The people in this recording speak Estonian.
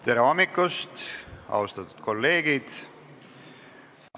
Tere hommikust, austatud kolleegid!